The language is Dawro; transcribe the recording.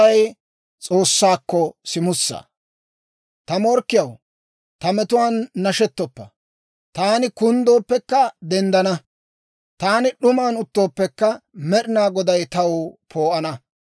Ta morkkiyaw, ta metuwaan nashettoppa. Taani kunddooppekka denddana; taani d'uman uttooppekka, Med'ina Goday taw poo'ana.